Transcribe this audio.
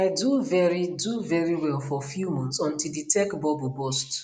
i do very do very well for few months until di tech bubble burst